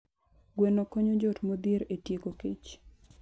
Gweno konyo joot modhier e tieko kech.